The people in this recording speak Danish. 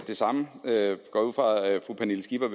det samme jeg går ud fra at fru pernille skipper